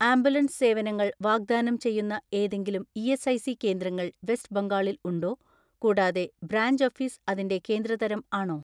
Ambulance സേവനങ്ങൾ വാഗ്ദാനം ചെയ്യുന്ന ഏതെങ്കിലും ഇ.എസ്.ഐ.സി കേന്ദ്രങ്ങൾ വെസ്റ്റ് ബംഗാളിൽ ഉണ്ടോ? കൂടാതെ ബ്രാഞ്ച് ഓഫീസ് അതിന്റെ കേന്ദ്ര തരം ആണോ?